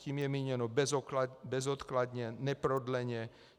Tím je míněno bezodkladně, neprodleně.